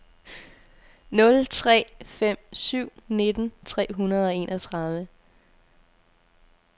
nul tre fem syv nitten tre hundrede og enogtredive